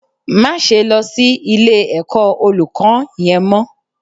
Máse lọ sí ilé ẹ̀kọ́ Olùkọ́n yẹn mọ́